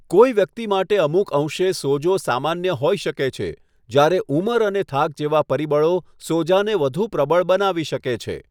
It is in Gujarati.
કોઈ વ્યક્તિ માટે અમુક અંશે સોજો સામાન્ય હોઈ શકે છે, જયારે ઉંમર અને થાક જેવા પરિબળો સોજાને વધુ પ્રબળ બનાવી શકે છે.